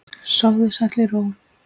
Sofðu sæll í ró.